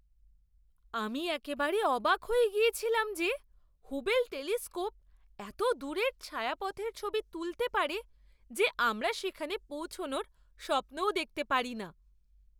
আমি একেবারে অবাক হয়ে গিয়েছিলাম যে হুবেল টেলিস্কোপ এত দূরের ছায়াপথের ছবি তুলতে পারে যে আমরা সেখানে পৌঁছানোর স্বপ্নও দেখতে পারি না!